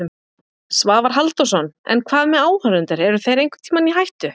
Svavar Halldórsson: En hvað með áhorfendur, eru þeir einhvern tíma í hættu?